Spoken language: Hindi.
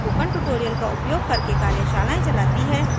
स्पोकन ट्यूटोरियल का उपयोग करके कार्यशालाएं चलती है